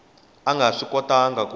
a nga swi kotangi ku